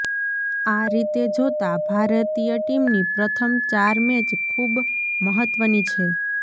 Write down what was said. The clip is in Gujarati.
આ રીતે જોતાં ભારતીય ટીમની પ્રથમ ચાર મૅચ ખૂબ મહત્ત્વની છે